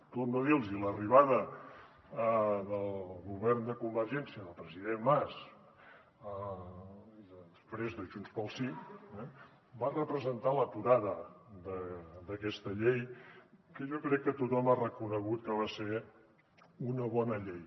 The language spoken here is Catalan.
torno a dir los ho l’arribada del govern de convergència del president mas i després de junts pel sí va representar l’aturada d’aquesta llei que jo crec que tothom ha reconegut que va ser una bona llei